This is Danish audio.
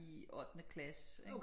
I ottende klasse ikke